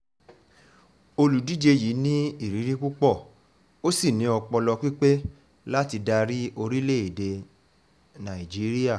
olùdíje yìí ní ìrírí púpọ̀ ó sì ní ọpọlọ pípé láti darí orílẹ̀‐èdè darí orílẹ̀‐èdè nàíjíríà